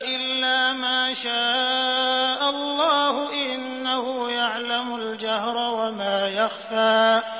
إِلَّا مَا شَاءَ اللَّهُ ۚ إِنَّهُ يَعْلَمُ الْجَهْرَ وَمَا يَخْفَىٰ